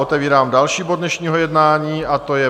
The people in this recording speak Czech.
Otevírám další bod dnešního jednání a to je